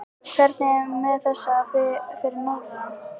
Hvernig er með þessa fyrir norðan?